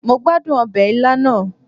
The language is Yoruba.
Mo gbadun obe ila naa